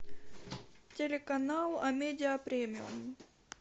телеканал амедиа премиум